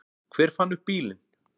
Hver fann upp bílinn?